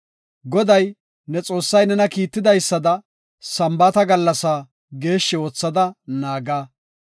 “Goday, ne Xoossay nena kiittidaysada Sambaata gallasaa geeshshi oothada naaga.